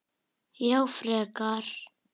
Já frekar.